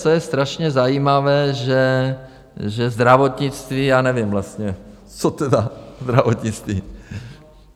Co je strašně zajímavé, že zdravotnictví - já nevím vlastně, co tedy zdravotnictví.